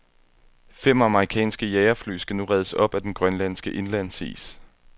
Fem amerikanske jagerfly skal nu reddes op af den grønlandske indlandsis.